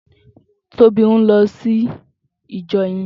Tobi n lò sí ijò yèn